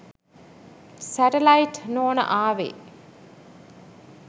Satellite නෝන ආවෙ.